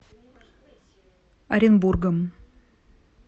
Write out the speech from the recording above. оренбургом